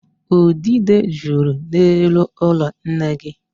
Udide juru n'elu ụlọ nne gị.